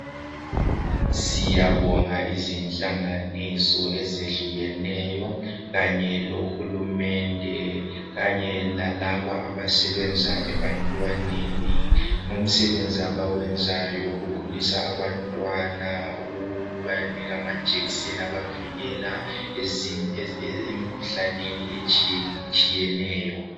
Siyabonga izinhlanganiso ezehlukeneyo kanye lohulumende kanye lalaba abasebenza ebantwaneni ngomsebenzi abawenzayo ukukhulisa abantwana ukubanikeza amajekiseni obavikela emikhuhlaneni etshiye tshiyeneyo